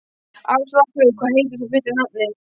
Áslákur, hvað heitir þú fullu nafni?